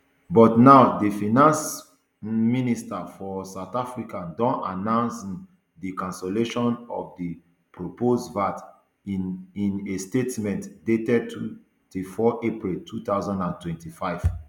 but now di finance um minister for south africa don announce um di cancellation of di proposed vat in in a statement dated twenty-four april two thousand and twenty-five